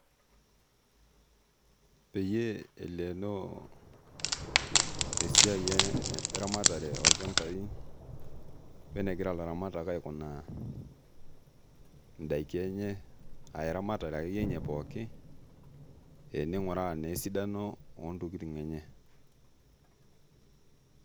Peyie eleenoo esiai eramatare, olchampainonegirabilatamak aikunaa eramatare enye pookin. ning'uaaraa naa esidano ontokitin enye .